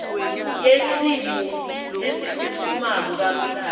yesimo lesiphutfumako ngamhlaka